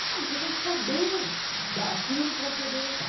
Sabe, você tem que saber daquilo para poder orientar.